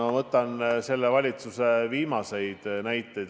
Ma toon selle valitsuse tööst viimaseid näiteid.